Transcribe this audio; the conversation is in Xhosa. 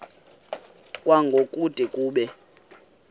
kwango kude kube